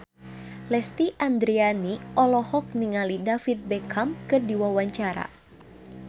Lesti Andryani olohok ningali David Beckham keur diwawancara